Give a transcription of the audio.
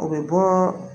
U bɛ bɔ